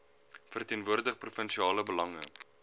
verteenwoordig provinsiale belange